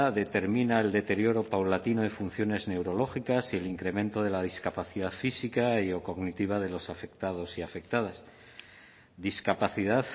determina el deterioro paulatino de funciones neurológicas y el incremento de la discapacidad física y o cognitiva de los afectados y afectadas discapacidad